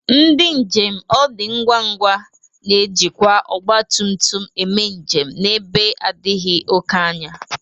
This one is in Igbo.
Ndị njem ọ dị ngwa ngwa na-ejikwa ọgbatụmtụm eme njem n'ebe adịghị oke anya..